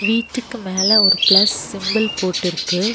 வீட்டுக்கு மேல ஒரு பிளஸ் சிம்பல் போட்டிருக்கு.